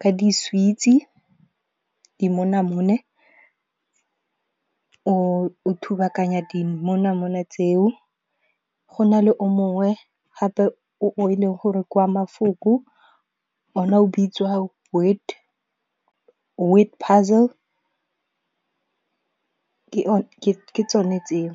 ka di-sweets-e, dimonamone. O thubakanya dimonamone tseo, go na le o mongwe gape o e leng gore kwa mafoko one o bitswa Word Puzzle ke tsone tseo.